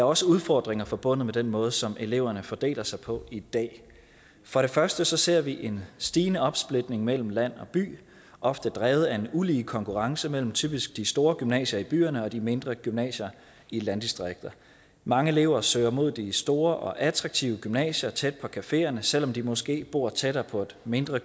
også udfordringer forbundet med den måde som eleverne fordeler sig på i dag for det første ser vi en stigende opsplitning mellem land og by ofte drevet af en ulige konkurrence mellem typisk de store gymnasier i byerne og de mindre gymnasier i landdistrikterne mange elever søger mod de store og attraktiv gymnasier tæt på cafeerne selv om de måske bor tættere på et mindre